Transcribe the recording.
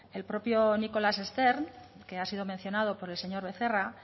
el propio nicholas stern que ha sido mencionado por el señor becerra